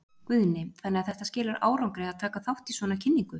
Guðni: Þannig að þetta skilar árangri að taka þátt í svona kynningu?